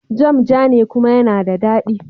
Jam jane kuma yana da dadi.